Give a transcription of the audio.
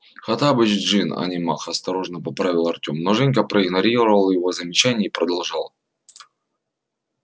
хоттабыч джинн а не маг осторожно поправил артём но женька проигнорировал его замечание и продолжал